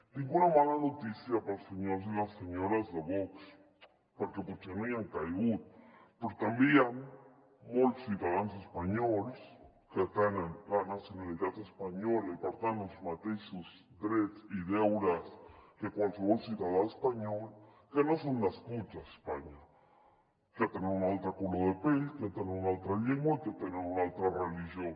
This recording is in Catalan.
tinc una mala notícia per als senyors i les senyores de vox perquè potser no hi han caigut però també hi han molts ciutadans espanyols que tenen la nacionalitat espanyola i per tant els mateixos drets i deures que qualsevol ciutadà espanyol que no són nascuts a espanya que tenen un altre color de pell que tenen una altra llengua i que tenen una altra religió